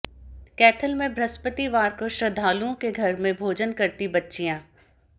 कैथल में बृहस्पतिवार को श्रद्धालुओं के घर में भोजन करती बच्चियां